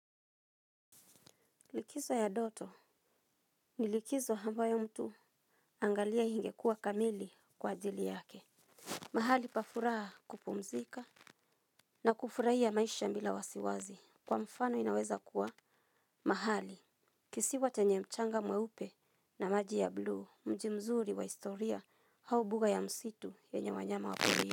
Likizo ya ndoto ni likizo ambayo mtu angalia ingekuwa kamili kwa ajili yake mahali pa furaha kupumzika na kufurahia maisha bila wasiwasi kwa mfano inaweza kuwa mahali kisiwa chenye mchanga mweupe na maji ya bluu mji mzuri wa historia au mbuga ya msitu wenye wanyama wako wengi.